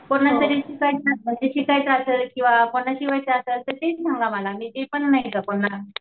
कुणाला जरी शिकायचं असेल किंवा कोणाला शिवायचं असेल तर ते मला तर ते पण